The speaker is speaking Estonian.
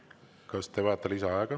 Kas te vajate lisaaega?